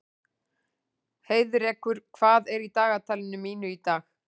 Heiðrekur, hvað er í dagatalinu mínu í dag?